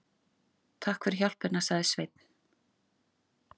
Takk fyrir hjálpina, sagði Sveinn.